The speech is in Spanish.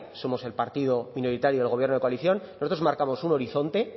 somos el partido minoritario del gobierno de coalición nosotros marcamos un horizonte